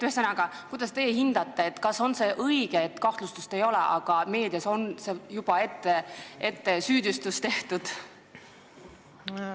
Ühesõnaga, kuidas teie hindate, kas on õige, et kahtlustust ei ole, aga meedias on juba ette süüdistus esitatud?